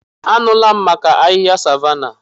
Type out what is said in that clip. Anụla m maka ahịhịa savanna.